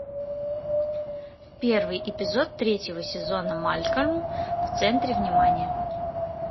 первый эпизод третьего сезона малкольм в центре внимания